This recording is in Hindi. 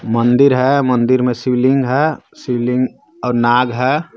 मंदिर हे मंदिर मे शिवलिंग हे शिवलिंग और नाग हे.